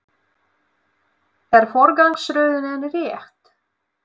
Er forgangsröðunin rétt?